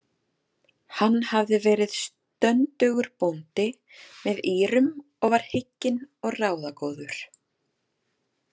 Hann hafði verið stöndugur bóndi með Írum og var hygginn og ráðagóður.